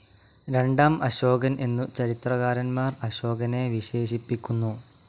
രണ്ടാം അശോകൻ എന്നു ചരിത്രകാരൻമാർ അശോകനെ വിശേഷിപ്പിക്കുന്നു.